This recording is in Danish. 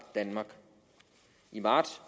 danmark i marts